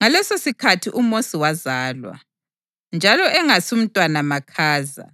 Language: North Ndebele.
Ngalesosikhathi uMosi wazalwa, njalo engasumntwana makhaza.